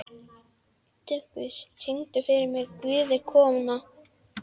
Dufgus, syngdu fyrir mig „Guð er kona“.